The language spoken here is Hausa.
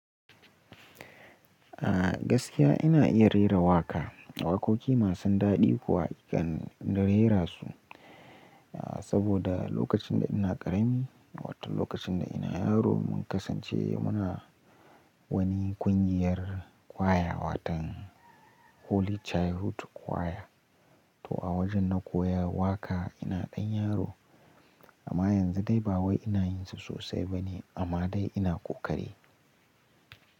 Ah gaskiya ina iya rera waƙa, waƙoƙi masu daɗi kuwa zan na rera su. Ah saboda lokacin da ina ƙarami, wato lokacin da ina yaro mun kasance muna wani ƙungiyar ƙwaya watan Holy Childhood ƙwaya. To a wajen na koya waƙa ina ɗan yaro. Amma yanzu dai ba wai ina yin su sosai bane amma dai ina ƙoƙari.